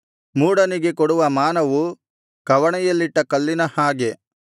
ಮೂಢನಿಗೆ ಕೊಡುವ ಮಾನವು ಕವಣೆಯಲ್ಲಿಟ್ಟ ಕಲ್ಲಿನ ಹಾಗೆ